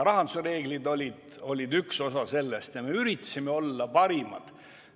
Rahanduse reeglid olid üks osa sellest ja me üritasime olla parimad.